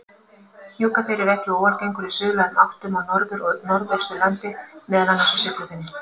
Hnjúkaþeyr er ekki óalgengur í suðlægum áttum á Norður- og Norðausturlandi, meðal annars á Siglufirði.